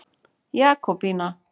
Jakobína